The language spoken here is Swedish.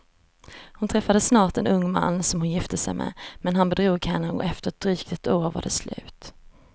Hon träffade snart en ung man som hon gifte sig med, men han bedrog henne och efter ett drygt år var det slut.